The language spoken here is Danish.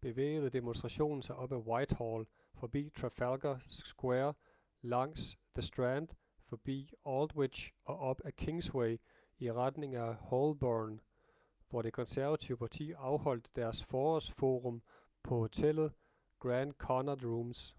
bevægede demonstrationen sig op ad whitehall forbi trafalgar square langs the strand forbi aldwych og op ad kingsway i retning af holborn hvor det konservative parti afholdt deres forårs-forum på hotellet grand connaught rooms